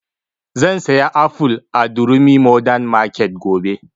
Zan saya aful a durumi modern market gobe